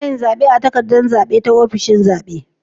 Anayin zabe a takaddar zabe ta ofishin zabe